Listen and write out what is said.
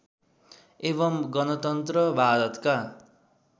एवं गणतन्त्र भारतका